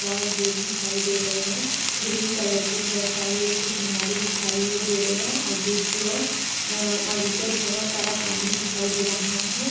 और गेट दिखाई दे रहे हैं। ग्रीन कलर की बोहोत सारी ऐसी किनारे दिखाई हुए दे रहे हैं। आगे की ओर अ आगे की ओर बोहोत सारा पानी दिखाई दे रहा है।